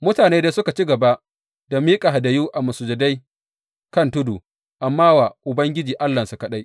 Mutane dai suka ci gaba da miƙa hadayu a masujadai kan tudu, amma wa Ubangiji Allahnsu kaɗai.